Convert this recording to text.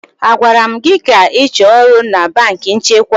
A gwara m gị ka ị chọọ ọrụ na banki nchekwa?